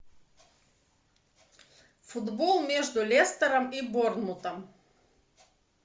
футбол между лестером и борнмутом